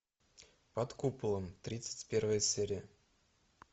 под куполом тридцать первая серия